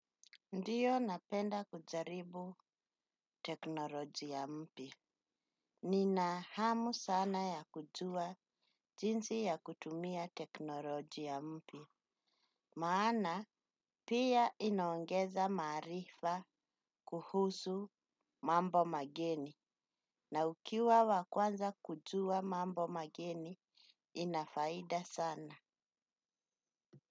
Ndiyo napenda kujaribu teknolojia mpya. Ninahamu sana ya kujua jinsi ya kutumia teknolojia mpya maana pia inaongeza maarifa kuhusu mambo mageni. Na ukiwa wakwanza kujua mambo mageni inafaida sana.